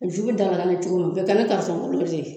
OJugu da da n be cogo min bɛɛ kan ga faamuya n'o de ye